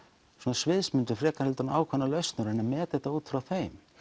sviðsmyndir frekar en ákveðnar lausnir og meta þetta út frá þeim